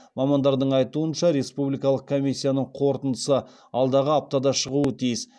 мамандардың айтуынша республи калық комиссиясының қорытындысы алдағы аптада шығуы тиіс